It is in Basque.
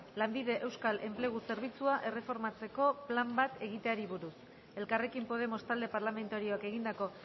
lanbide euskal enplegu zerbitzua erreformatzeko plan bat egiteari buruz elkarrekin podemos talde parlamentarioak egindako